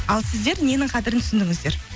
ал сіздер ненің қадірін түсіндіңіздер